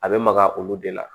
A bɛ maga olu de la